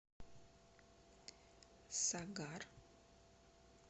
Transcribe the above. сагар